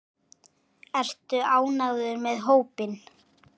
Ertu ánægður með hópinn?